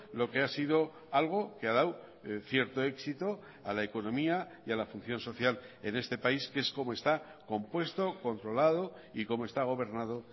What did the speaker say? lo que ha sido algo que ha dado cierto éxito a la economía y a la función social en este país que es como está compuesto controlado y como está gobernado